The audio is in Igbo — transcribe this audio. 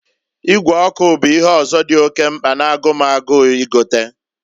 Ịgwe ọkụ bụ ihe ọzọ dị oke mkpa na-agụ m agụụ igota.